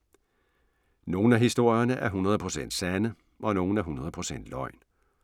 Nogle af historierne er 100 procent sande og nogle er 100 procent løgn.